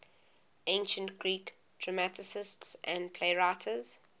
ancient greek dramatists and playwrights